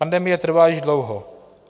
Pandemie trvá již dlouho.